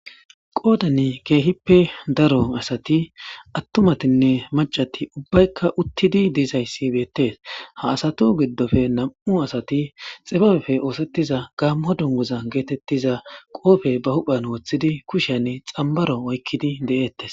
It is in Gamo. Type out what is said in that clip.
qoodan keehippe daro asati attumatinne macati ubbaykka uttidi dizayssi beettees ha asatu giddofe nam'u asati xibabefe oosettiza gaammo dunguza geetettiza qoofe ba huphan wooththidi kusheyan xambaro oykkidi de'eettes